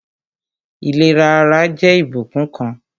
Ìlera ara jẹ́ ìbùkún kan